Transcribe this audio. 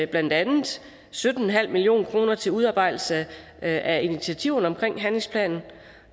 blandt andet sytten million kroner til udarbejdelse af initiativerne omkring handlingsplanen